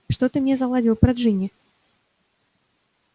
что ты мне заладил про джинни